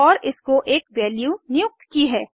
और इसको एक वैल्यू नियुक्त की है